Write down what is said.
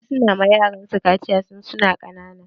Wasu na ma yaran su kaciya tun suna ƙanana.